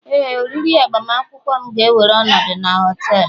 Éè, oriri agbamakwụkwọ m ga-ewere ọnọdụ na họtelu